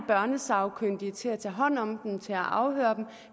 børnesagkyndige til at tage hånd om dem til at afhøre dem